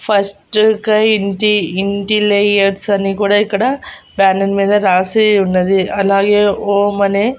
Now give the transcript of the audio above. first కై ఇంటి ఇంటి లేయర్స్ అని కూడా ఇక్కడ బ్యానర్ మీద రాసి ఉన్నది అలాగే ఓం అనే--